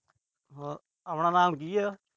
ਹ। ਆਪਣਾ ਨਾਮ ਕੀ ਆ।